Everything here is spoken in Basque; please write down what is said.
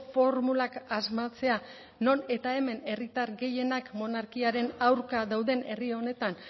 formulak asmatzea non eta hemen herritar gehienak monarkiaren aurka dauden herri honetan